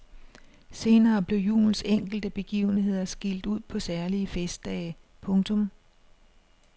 Senere blev julens enkelte begivenheder skilt ud på særlige festdage. punktum